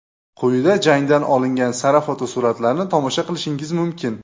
Quyida jangdan olingan sara fotosuratlarni tomosha qilishingiz mumkin.